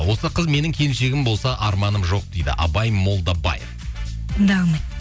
осы қыз менің келіншегім болса арманым жоқ дейді абай молдабай дым да қылмайды